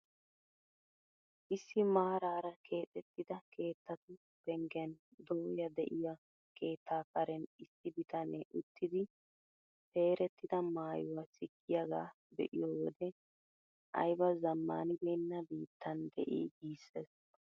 Issi maraara kexettidi keettatu penggen dooya de'iyo keettaa karen issi bitanee uttidi peerettida maayuwaa sikkiyaaga be'iyo wode ayba zammaanibenna biittan de'i giissees!